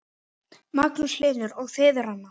Magnús Hlynur: Og þið, Ranna?